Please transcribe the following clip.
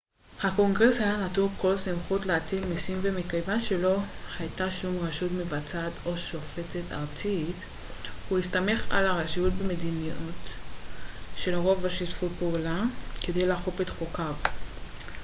הקונגרס היה נטול כל סמכות להטיל מיסים ומכיוון שלא הייתה שום רשות מבצעת או שופטת ארצית הוא הסתמך על הרשויות במדינות שלרוב לא שיתפו פעולה כדי לאכוף את חוקיו